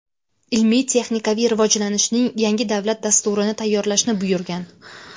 ilmiy-texnikaviy rivojlanishning yangi davlat dasturini tayyorlashni buyurgan.